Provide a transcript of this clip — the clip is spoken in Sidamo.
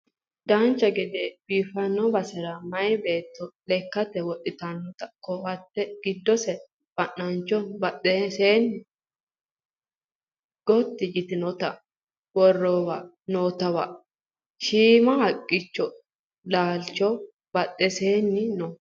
dancha gede biiffanno basera maye beetto lekkate wodhitanno ko"atte giddose fanancho badhiidose gotti yitinota worreenna nootewa shiima haqqichote laalchi badheenni no